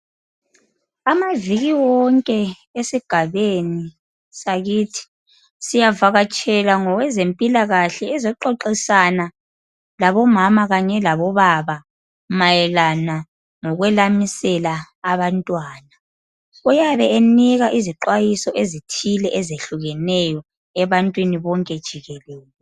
Amaviki wonke esigabeni sakithi siyavakatshelwa ngowezempilakahle ezoxoxisana labomama kanye labobaba mayelana ngokwelamisela abantwana. Uyabe enika izixwayiso ezithile ezehlukeneyo ebantwini bonke jikelele.